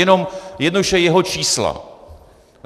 Jenom jednoduše jeho čísla.